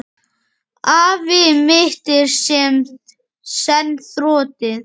Afl mitt er senn þrotið.